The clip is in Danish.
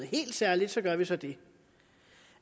helt særligt gør man så det